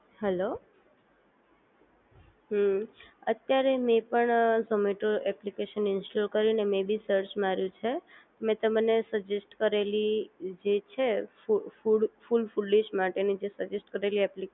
hello હમ્મ અત્યારે મેં પણ ઝોમેટો એપ્લિકેશન ઇન્સ્ટોલ કર્યું અને મે ભી સર્ચ માર્યું છે મેં તમને સજેસ્ટ કરેલી જે છે food full food full dish માટેની જે સિલેક્ટ કરેલી એપ્લિકે